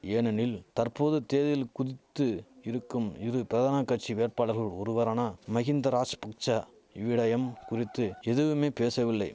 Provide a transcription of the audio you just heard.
ஏனெனில் தற்போது தேர்தலில் குதித்து இருக்கும் இரு பிரதான கட்சி வேட்பாளர்கள் ஒருவரான மகிந்த ராஷ்பக்ச இவ்விடயம் குறித்து எதுவுமே பேசவில்லை